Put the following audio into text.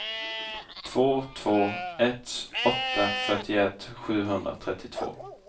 två två ett åtta fyrtioett sjuhundratrettiotvå